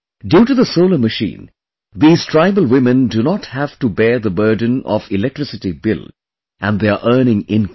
Due to the Solar Machine, these tribal women do not have to bear the burden of electricity bill, and they are earning income